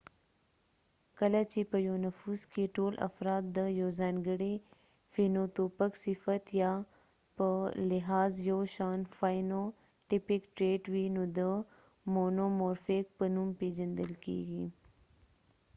کله چې په یو نفوس کې ټول افراد د یوځانګړي فینوتوپک صفت یا phenotypic trait په لحاظ یوشان وي نو د مونومورفیک په نوم پیژندل کیږي